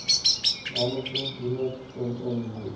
management unit mmu